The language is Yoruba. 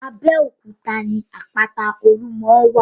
Abẹ́òkúta ní àpáta-olúmọ wà.